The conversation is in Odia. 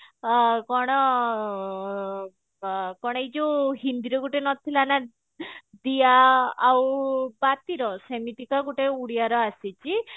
କଣ ଏଇ ଯୋଉ ହିନ୍ଦୀରେ ଗୋଟେ ନଥିଲା ନା ଦିଆ ଆଉ ପାତିର ସେମିତିକା ଗୋଟେ ଉଡିଆର ଆସିଛି